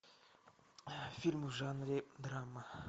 фильм в жанре драма